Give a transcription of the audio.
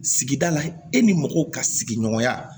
Sigida la e ni mɔgɔw ka sigiɲɔgɔnya